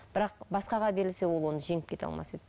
бірақ басқаға берілсе ол оны жеңіп кете алмас еді